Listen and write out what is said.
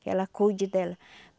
Que ela cuide dela.